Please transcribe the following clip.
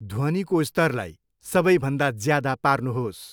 ध्वनिको स्तरलाई सबैभन्दा ज्यादा पार्नुहोस्।